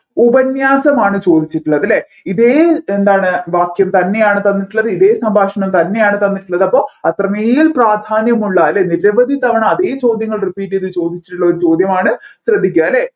ഉപന്യാസമാണ് ചോദിച്ചിട്ടുള്ളത് അല്ലെ ഇതേ എന്താണ് വാക്യം തന്നെയാണ് തന്നിട്ടുള്ളത് ഇതേ സംഭാഷണം തന്നെയാണ് തന്നിട്ടുള്ളത് അപ്പോ അത്രമേൽ പ്രധാന്യമുള്ള അല്ലേ നിരവധി തവണ അതെ ചോദ്യങ്ങൾ repeat ചെയ്ത് ചോദിച്ചിട്ടുള്ള ഒരു ചോദ്യമാണ് ശ്രദ്ധിക്കുക അല്ലെ